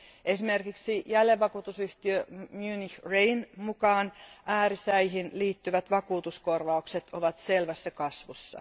Esimerkiksi Munich Re jälleenvakuutusyhtiön mukaan äärisäihin liittyvät vakuutuskorvaukset ovat selvässä kasvussa.